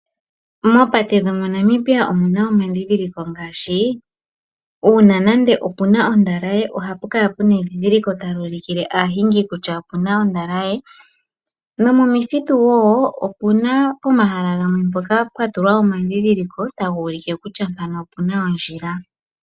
Moopate dhoNamibia omuna omandhidhiliko ngaashi uuna puna ondalaye ohapu kala puna edhidhiliko tali ulikile aahingi kutya opuna ondalaye, nomomithitu wo omuna omahala gamwe gatulwa omandhidhiliko taga ulike kutya mpano opuna ondjila.